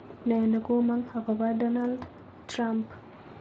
Ne negomong agoba Donald trump